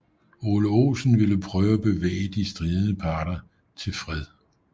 Ole Olsen ville prøve at bevæge de stridende parter til fred